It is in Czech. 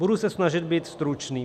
Budu se snažit být stručný.